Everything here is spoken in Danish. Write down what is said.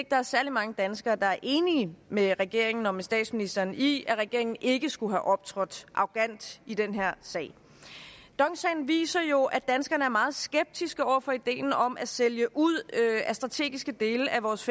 der er særlig mange danskere der er enige med regeringen og med statsministeren i at regeringen ikke skulle have optrådt arrogant i den her sag dong sagen viser jo at danskerne er meget skeptiske over for ideen om at sælge ud af strategiske dele af vores